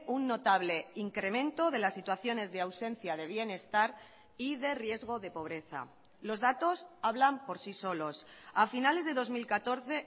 un notable incremento de las situaciones de ausencia de bienestar y de riesgo de pobreza los datos hablan por sí solos a finales de dos mil catorce